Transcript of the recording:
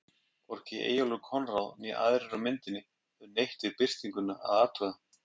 Hvorki Eyjólfur Konráð né aðrir á myndinni höfðu neitt við birtinguna að athuga.